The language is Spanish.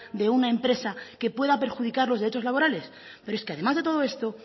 de una empresa que pueda perjudicar los derechos laborales pero es que además de todo esto